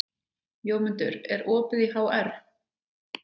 Jómundur, er opið í HR?